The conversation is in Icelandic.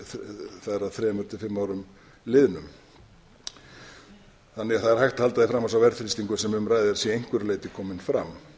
það er að þremur til fimm árum liðnum þannig að það er hægt að halda því fram að sá verðþrýstingur sem um ræðir sé að einhverju leyti kominn fram